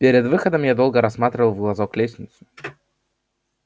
перед выходом я долго рассматривал в глазок лестницу